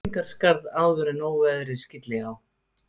Kerlingarskarð áður en óveðrið skylli á.